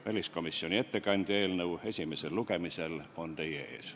Väliskomisjoni ettekandja eelnõu esimesel lugemisel on teie ees.